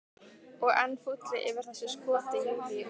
Og enn fúlli yfir þessu skoti Júlíu.